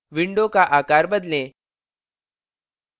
window का आकार बदलें